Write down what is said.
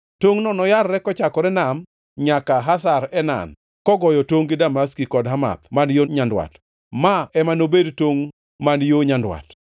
Tongʼno noyarre kochakore e nam nyaka Hazar Enan, kogoyo tongʼ gi Damaski kod Hamath man yo nyandwat. Ma ema nobed tongʼ man yo nyandwat.